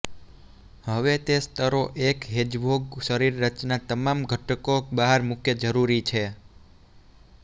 હવે તે સ્તરો એક હેજહોગ શરીર રચના તમામ ઘટકો બહાર મૂકે જરૂરી છે